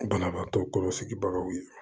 Banabaatɔ kɔlɔsibagaw ye